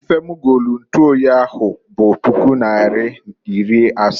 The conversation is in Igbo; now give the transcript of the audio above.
Ife m golu ntuoyi m ahụ bụ puku naịra iri asa.